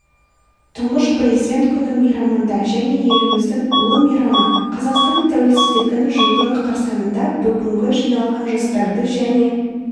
тұңғыш президент күні мейрамында және еліміздің ұлы мейрамы қазақстан тәуелсіздігінің жылдығы қарсаңында бүгін жиналған жастарды және